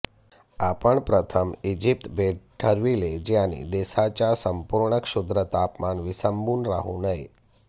आपण प्रथम इजिप्त भेट ठरविले ज्यांनी देशाच्या संपूर्ण क्षुद्र तापमान विसंबून राहू नये